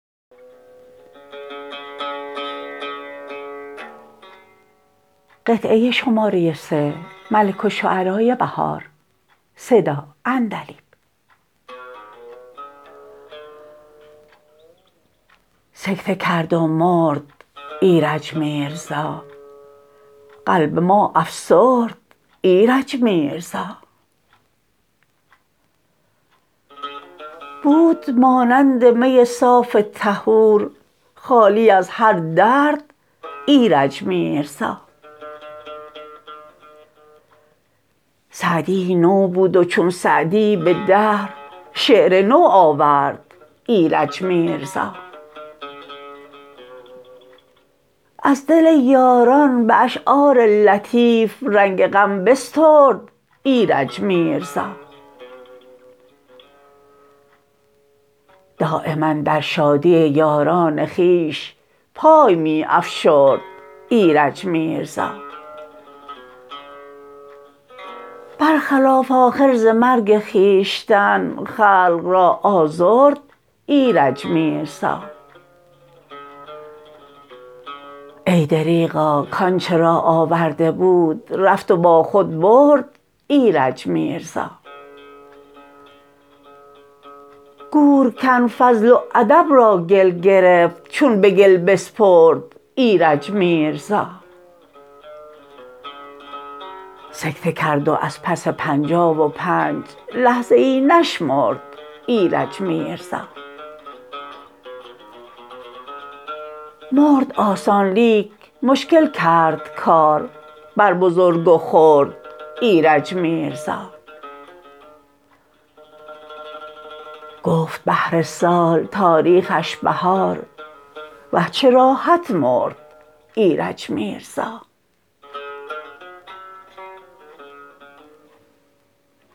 سکته کرد و مرد ایرج میرزا قلب ما افسرد ایرج میرزا بود مانند می صاف طهور خالی از هر درد ایرج میرزا سعدی ای نو بود و چون سعدی به دهر شعر نو آورد ایرج میرزا از دل یاران به اشعار لطیف زنگ غم بسترد ایرج میرزا دایما در شادی یاران خویش پای می افشرد ایرج میرزا برخلاف آخر ز مرگ خویشتن خلق را آزرد ایرج میرزا ای دریغا کانچه را آورده بود رفت و با خود برد ایرج میرزا گورکن فضل و ادب را گل گرفت چون به گل بسپرد ایرج میرزا سکته کرد و از پس پنجاه و پنج لحظه ای نشمرد ایرج میرزا مرد آسان لیک مشکل کرد کار بر بزرگ و خرد ایرج میرزا گفت بهر سال تاریخش بهار وه چه راحت مرد ایرج میرزا